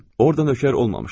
Orda nökər olmamışdım.